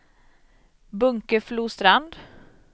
Bunkeflostrand